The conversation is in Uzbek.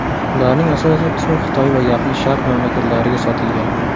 Ularning asosiy qismi Xitoy va Yaqin Sharq mamlakatlariga sotilgan.